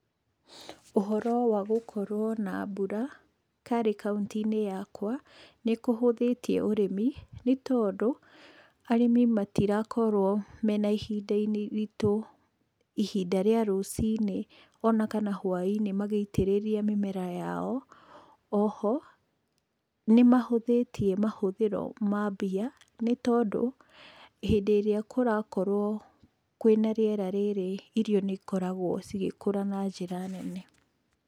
Ũhoro wa gũkorwo na mbura, harĩ kaũnti-inĩ yakwa nĩ kũhũthĩtie ũrĩmi, nĩ tondũ arĩmi matirakorwo mena ihinda-inĩ iritũ, rĩa rũcinĩ ona kana hwa-inĩ magĩitĩrĩria mĩmera yai. O ho, nĩ mahũthĩtie mahũthĩro ma mbia, nĩ tondũ hĩndĩ ĩrĩa kũrakorwo kwĩ na rĩera rĩrĩ, irio nĩ ikoragwo igĩkũra na njĩra nene.